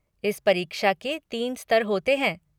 इस परीक्षा के तीन स्तर होते हैं।